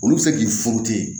Olu bɛ se k'i furu ten